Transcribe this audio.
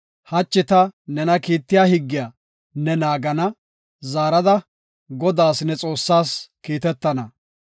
Hachi ta nena kiittiya higgiya ne naagana; zaarada Godaas, ne Xoossaas kiitetana.